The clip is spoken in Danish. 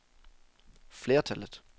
flertallet